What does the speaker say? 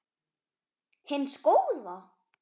hins góða?